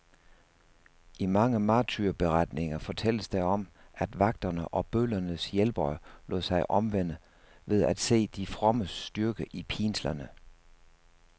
I mange martyrberetninger fortælles der om, at vagterne og bødlernes hjælpere lod sig omvende ved at se de frommes styrke i pinslerne.